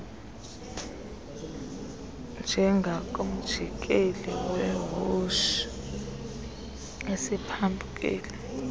njengakumjikelo wewotshi esiphambukeni